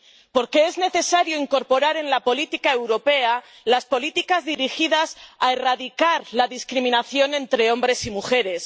Porque es necesario incorporar a la política europea las políticas dirigidas a erradicar la discriminación entre hombres y mujeres.